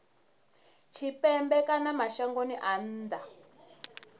tshipembe kana mashangoni a nnḓa